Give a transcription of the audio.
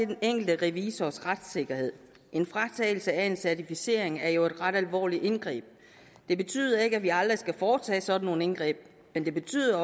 den enkelte revisors retssikkerhed en fratagelse af en certificering er jo et ret alvorligt indgreb det betyder ikke at vi aldrig skal foretage sådan nogle indgreb men det betyder